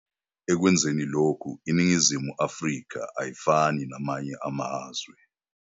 Ekwenzeni lokhu, iNingizimu Afrika ayifani namanye amazwe.